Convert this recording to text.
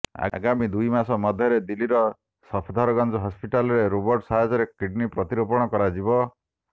ଆଗାମୀ ଦୁଇ ମାସ ମଧ୍ୟରେ ଦିଲ୍ଲୀର ସଫଦରଜଙ୍ଗ ହସ୍ପିଟାଲରେ ରୋବୋଟ୍ ସାହାଯ୍ୟରେ କିଡ଼ନୀ ପ୍ରତିରୋପଣ କରାଯିବ